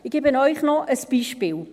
Ich gebe Ihnen noch ein Beispiel: